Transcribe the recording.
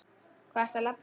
Hvað ertu að babla?